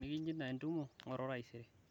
enikishinda entumoto ngoru taisere